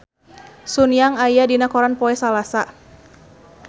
Sun Yang aya dina koran poe Salasa